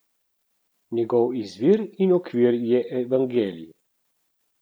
Njegov izvir in okvir je evangelij.